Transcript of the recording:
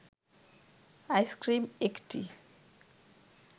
ice cream একটি